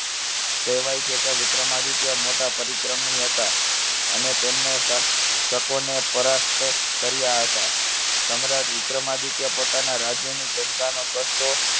કહેવાય છે કે વિક્રમાદિત્ય મોટા પરીક્રમી હતા. અને તેમને શસ~ ને પરાસ્ત કર્યા હતા. સમ્રાટ વિક્રમાદિત્ય પોતાના રાજ્યની જનતાનો કષ્ટો